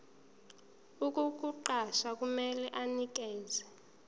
ukukuqasha kumele anikeze